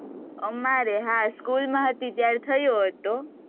અમારે? હા, school માં હતી, ત્યારે થયેલો હતો.